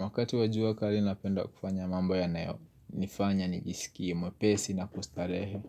Wakati wajua kali napenda kufanya mambo yanayo nifanya nijisikie mwepesi na kustarehe